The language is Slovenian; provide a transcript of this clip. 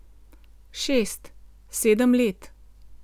Šest, sedem let.